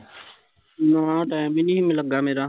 ਨਾ ਟੈਮ ਹੀਂ ਨਹੀਂ ਸੀ ਮੀਲੱਗਾ ਮੇਰਾ